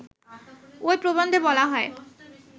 ঐ প্রবন্ধে বলা হয়